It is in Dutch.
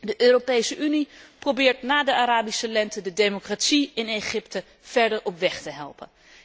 De Europese Unie probeert na de Arabische lente de democratie in Egypte verder op weg te helpen.